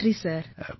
ரொம்ப நன்றி சார்